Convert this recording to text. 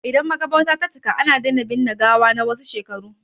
Idan maƙabarta ta cika, ana daina binne gawa na wasu shekaru.